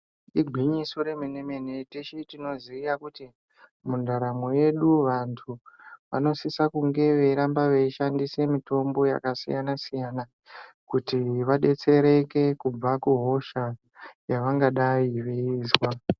Igwinyiso yemene-mene , teshe tinoziya kuti mundaramo yedu antu vanosise kude veiramba veishandisa mitombo yakasiyana-siyana kuti vadetsereke kubva kuhosha yavangadai veizwa.